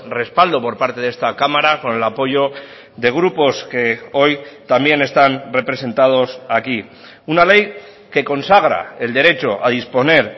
respaldo por parte de esta cámara con el apoyo de grupos que hoy también están representados aquí una ley que consagra el derecho a disponer